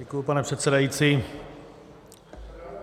Děkuji, pane předsedající.